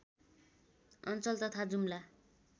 अञ्चल तथा जुम्ला